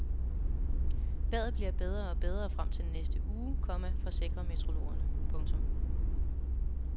Vejret bliver bedre og bedre frem til næste uge, komma forsikrer meteorologerne. punktum